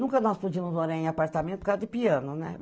Nunca nós podíamos morar em apartamento por causa de piano, né?